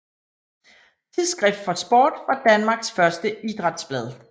Tidsskrift for Sport var Danmarks første idrætsblad